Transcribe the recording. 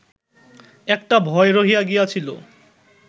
একটা ভয় রহিয়া গিয়াছিল